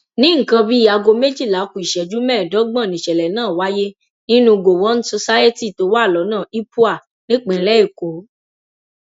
ní nǹkan bíi aago méjìlá ku ìṣẹjú mẹẹẹdọgbọn níṣẹlẹ náà wáyé nínú gọwọn society tó wà lọnà ipuã nípìnlẹ èkó